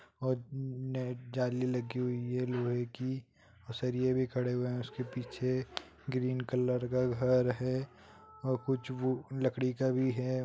जाली लगी हुयी है लोहे की ओर सरिये भी खड़े हुए उकसे पीछे ग्रीन कलर का घर है ओर कुछ लड़की का भी है।